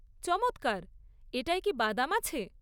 চমৎকার! এটায় কি বাদাম আছে?